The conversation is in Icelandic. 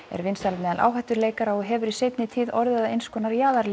er vinsæl meðal áhættuleikara og hefur í seinni tíð orðið að eins konar